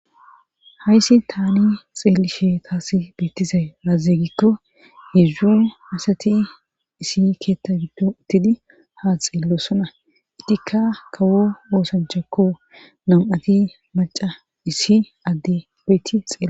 hayssi tani xeelisheetas beettizay aaze gikko hizdzu asati isi keetta gikko uttidi ha xeellosona idikka kawo woosanchakko nam7ati maca issi adde beyti xela